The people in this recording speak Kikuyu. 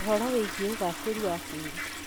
ũhoro wĩgie ũgacĩru wa tĩĩri